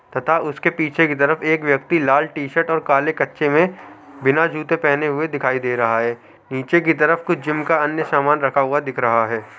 तथा उसके पीछे की तरफ एक व्यक्ति लाल टीशर्ट और काले कच्छे में बिना जूते पहने हुए दिखाई दे रहा है नीचे के तरफ कुछ जिम का अन्य सामान रखा हुआ दिख रहा है।